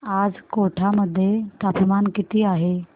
आज कोटा मध्ये तापमान किती आहे